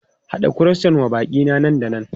Haɗa Croissant wa baƙi na nan da nan!